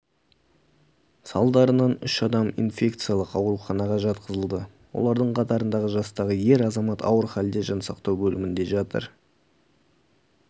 салдарынан үш адам инфекциялық ауруханаға жатқызылды олардың қатарындағы жастағы ер азамат ауыр халде жансақтау бөлімінде жатыр